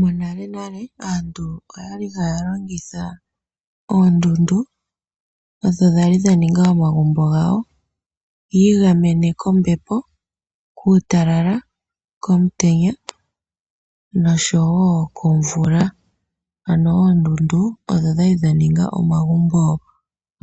Monalenale aantu oyali haya longitha oondundu, odho dhali dhaninga omagumbo gawo, yiigamene kombepo, kuutalala, komutenya nosho wo komvula, ano oondundu odho dhali dhaninga omagumbo